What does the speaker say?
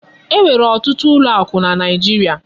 E nwere ọtụtụ ụlọ akụ na naijiria.